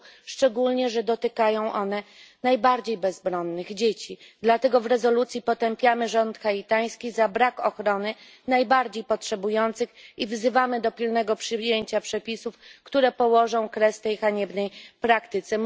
szczególnie że dotykają one najbardziej bezbronnych dzieci. Dlatego w rezolucji potępiamy rząd haitański za brak ochrony najbardziej potrzebujących i wzywamy do pilnego przyjęcia przepisów, które położą kres tej haniebnej praktyce.